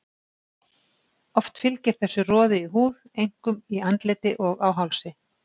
Oft fylgir þessu roði í húð, einkum í andliti og á hálsi.